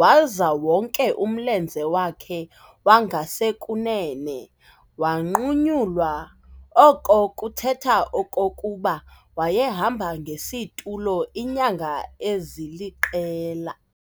waza wonke umlenze wakhe wangasekunene wanqunyulwa, oko kuthetha okokuba wayehamba ngesitulo iinyanga eziliqela.